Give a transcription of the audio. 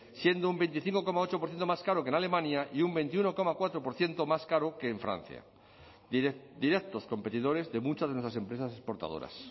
siendo un veinticinco coma ocho por ciento más caro que en alemania y un veintiuno coma cuatro por ciento más caro que en francia directos competidores de muchas de nuestras empresas exportadoras